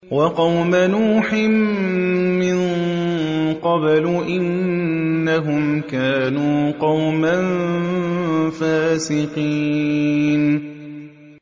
وَقَوْمَ نُوحٍ مِّن قَبْلُ ۖ إِنَّهُمْ كَانُوا قَوْمًا فَاسِقِينَ